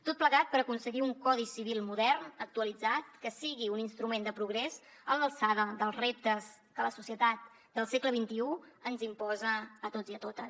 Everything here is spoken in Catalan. tot plegat per aconseguir un codi civil modern actualitzat que sigui un instrument de progrés a l’alçada dels reptes que la societat del segle xxi ens imposa a tots i a totes